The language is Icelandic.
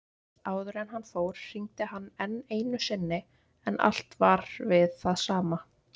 Áður en hann fór hringdi hann enn einu sinni en allt var við það sama.